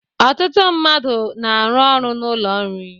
Ọtụtụ mmadụ na-arụ ọrụ n'ụlọ nri.